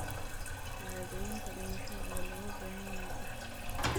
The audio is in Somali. Shahaadooyinka dhimashada ayaa looga baahan yahay dhaxalka.